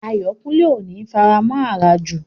Ayọ̀kúnlé ò ní faramọ̀ àràjù